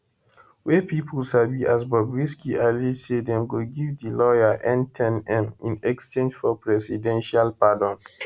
wey pipo sabi as bobrisky allege say dem go give di lawyer n10m in exchange for presidential pardon